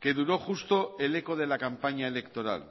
que duró justo el eco de la campaña electoral